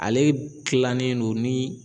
Ale gilannen don ni